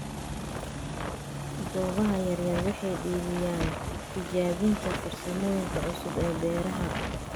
Goobaha yaryar waxay dhiirigeliyaan tijaabinta farsamooyinka cusub ee beeraha.